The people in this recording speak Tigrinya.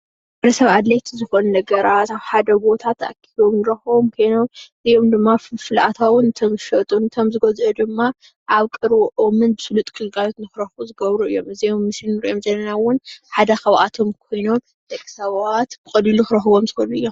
ንወዲ ሰብ ኣድለይቲ ዝኮኑ ነገራት ኣብ ሓደ ቦታ ተኣኮቦም እንረክቦም ኮኖም እዚኦም ድማ ፍልፍል ኣታዊ ነቶም ዝሸጡ ነቶም ዝገዝኡ ድማ ኣብ ቀረበኦም ስሉጥ ግልጋሎት ንክረኽቡ ዝገብሩ እዮም፡፡ እዞም ኣብ ምስሊ እንሪኦም ዘለና እውን ሓደ ካብኣቶም ኮይኖም ደቂ ሰባት ብቐሊሉ ክረኽብዎም ዝኽእሉ እዮም፡፡